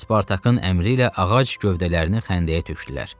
Spartakın əmri ilə ağac gövdələrini xəndəyə tökdülər.